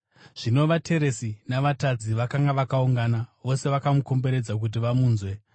Zvino vateresi na“vatadzi” vakanga vakaungana vose, vakamukomberedza kuti vamunzwe.